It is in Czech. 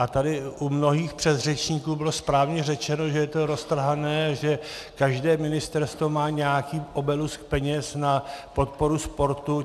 A tady u mnohých předřečníků bylo správně řečeno, že je to roztrhané, že každé ministerstvo má nějaký obolus peněz na podporu sportu.